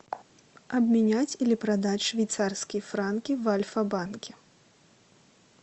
обменять или продать швейцарские франки в альфа банке